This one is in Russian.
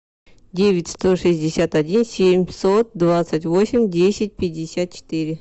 девять сто шестьдесят один семьсот двадцать восемь десять пятьдесят четыре